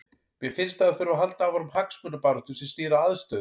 Mér finnst að það þurfi að halda áfram hagsmunabaráttu sem snýr að aðstöðu.